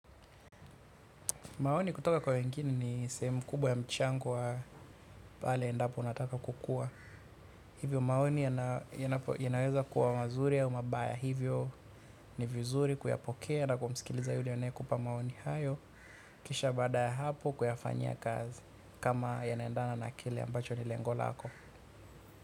Maoni kutoka kwa wengine ni sehemu kubwa ya mchango wa pale endapo nataka kukua. Hivyo maoni yanaweza kuwa mazuri ya mabaya. Hivyo ni vizuri kuyapokea na kumsikiliza yule anayekupa maoni hayo. Kisha baada ya hapo kuyafanyia kazi. Kama yanaendana na kile ambacho ni lengo lako.